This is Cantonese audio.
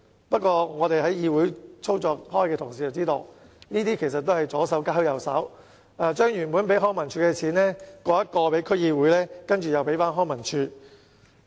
不過，在議會內工作的同事也知道，這其實只是左手交右手，把原本撥予康文署的撥款轉給區議會，然後才再交回康文署。